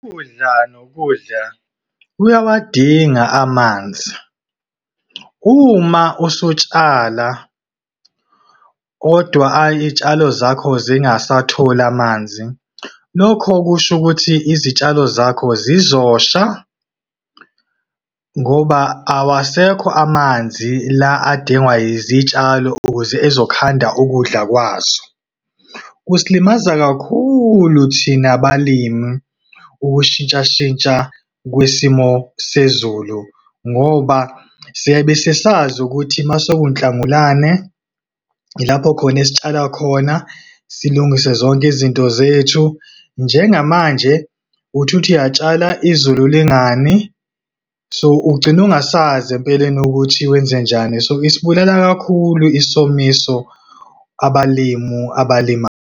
Ukudla nokudla, kuyawadinga amanzi. Uma usutshala, kodwa izitshalo zakho zingasatholi amanzi, lokho kusho ukuthi izitshalo zakho zizosha ngoba awasekho amanzi la adingwa zitshalo ukuze ezokhanda ukudla kwazo. Kusilimaza kakhulu thina balimi ukushintshashintsha kwesimo sezulu, ngoba siyabe sesazi ukuthi mase kuwuNhlangulane, ilapho khona esitshala khona, silungise zonke izinto zethu. Njengamanje uthi uthi uyatshala izulu lingani, so ugcine ungasazi empeleni ukuthi wenzenjani. So, isibulala kakhulu isomiso abalimu .